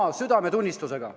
– "oma südametunnistusega.